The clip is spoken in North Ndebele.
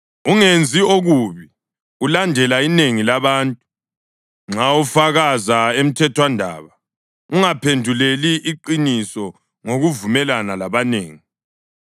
Ungenzi okubi ulandela inengi labantu. Nxa ufakaza emthethwandaba, ungaphenduleli iqiniso ngokuvumelana labanengi,